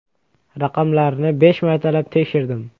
Raqamlarni besh martalab tekshirdim.